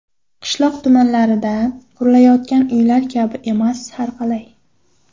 Qishloq tumanlarida qurilayotgan uylar kabi emas, har qalay.